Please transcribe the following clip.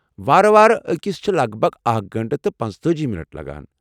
وارٕ وارٕ اكِس چھِ لگ بگ اكھ گنٹہٕ تہٕ پنژتأجی منٹ لگان